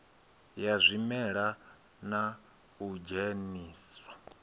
ya zwimela na u dzheniswa